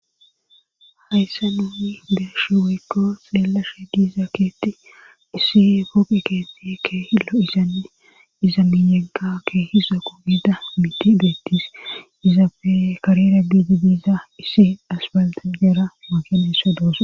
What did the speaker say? hayssa nuuni deesh weykko silelashe giiza keetti issi pooqi keetti kehillo isanne iza miyenga kee hisa ku giida miti deettis izape kari raggiji diiza issi asbalta jeera makineso doosa